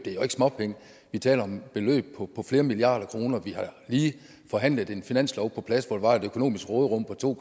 jo ikke småpenge vi taler om beløb på flere milliarder kroner og vi har lige forhandlet en finanslov på plads hvor der var et økonomisk råderum på to